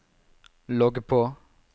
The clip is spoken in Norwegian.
logg på